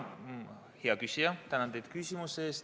Hea küsija, tänan teid küsimuse eest!